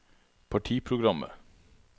partiprogrammet